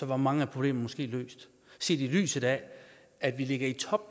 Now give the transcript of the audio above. var mange problemer måske løst set i lyset af at vi ligger i top